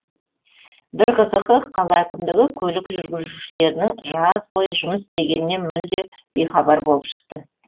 бір қызығы қала әкімдігі көлік жүргізушілерінің жаз бойы жұмыс істегенінен мүлде бейхабар болып шықты